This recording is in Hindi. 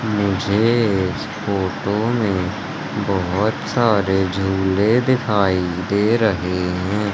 मुझे इस फोटो में बहोत सारे झींगे दिखाई दे रहे हैं।